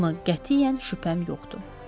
Buna qətiyyən şübhəm yoxdur.